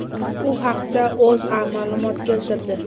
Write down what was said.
U haqda O‘zA ma’lumot keltirdi .